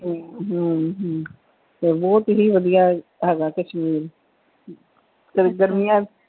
ਹਮ ਬਹੁਤ ਹੀ ਵਧੀਆ ਹੈਗਾ ਕਸ਼ਮੀਰ ਤੇ ਗਰਮੀਆਂ ਚ,